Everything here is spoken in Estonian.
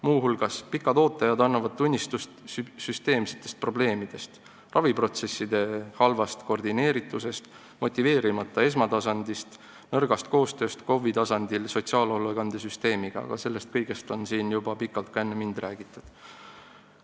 Muu hulgas annavad pikad ooteajad tunnistust süsteemsetest probleemidest, raviprotsesside halvast koordineeritusest, motiveerimata esmatasandist, nõrgast koostööst KOV-i tasandil sotsiaalhoolekandesüsteemiga, aga sellest kõigest on siin juba pikalt ka enne mind räägitud.